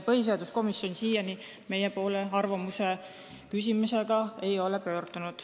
Põhiseaduskomisjon siiani meie poole arvamuse küsimisega ei ole pöördunud.